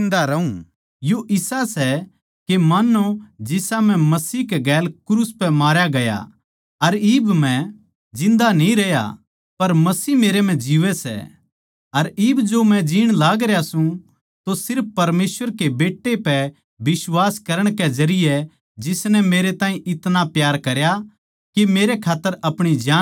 यो इसा सै के मान्नो जिसा मै मसीह कै गेल क्रूस पै मारया गया अर इब मै जिन्दा न्ही रह्या पर मसीह मेरै म्ह जीवै सै अर इब जो मै जीण लागरया सूं तो सिर्फ परमेसवर कै बेट्टै पै बिश्वास करण के जरिये जिसनै मेरै तै इतणा प्यार करया के मेरै खात्तर अपणी जान दे दी